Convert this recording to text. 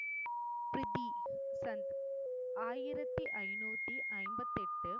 பிரிதி சந்த் ஆயிரத்தி ஐநூத்தி ஐம்பத்து எட்டு